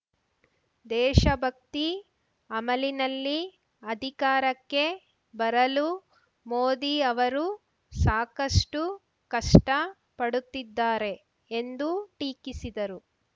ದೇಶಭಕ್ತಿ ಅಮಲಿನಲ್ಲಿ ಅಧಿಕಾರಕ್ಕೆ ಬರಲು ಮೋದಿ ಅವರು ಸಾಕಷ್ಟು ಕಷ್ಟ ಪಡುತ್ತಿದ್ದಾರೆ ಎಂದು ಟೀಕಿಸಿದರು